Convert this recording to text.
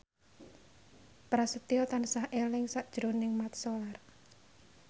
Prasetyo tansah eling sakjroning Mat Solar